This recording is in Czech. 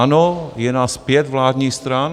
Ano, je nás pět vládních stran.